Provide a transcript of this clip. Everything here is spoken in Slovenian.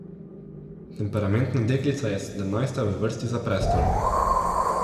Temperamentna deklica je sedemnajsta v vrsti za prestol.